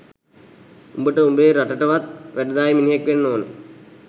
උඹට උබේ රටටවත් වැඩදායී මිනිහෙක් වෙන්න ඕන